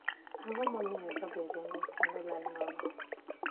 Ang'o momiyo jogi ringo, kendo lal nono?